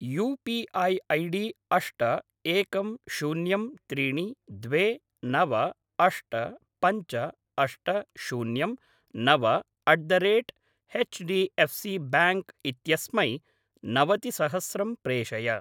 You P I ID अष्ट एकं शून्यं त्रीणि द्वे नव अष्ट पञ्च अष्ट शून्यं नव at the rate HDFC bank इत्यस्मै नवतिसहस्रं प्रेषय।